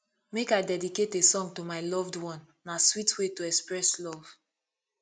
make i dedicate a song to my loved one na sweet way to express love